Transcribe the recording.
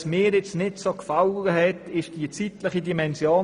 Was mir nicht so gefallen hat, war die zeitliche Dimension: